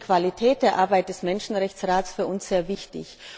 Deshalb ist die Qualität der Arbeit des Menschenrechtsrates für uns sehr wichtig.